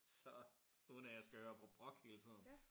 Så uden at jeg skal høre på brok hele tiden